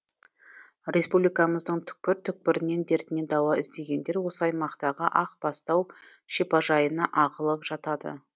республикамыздың түкпір түкпірінен дертіне дауа іздегендер осы аймақтағы ақ бастау шипажайына ағылып жатады